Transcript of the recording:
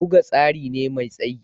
Buga tsari ne mai tsayi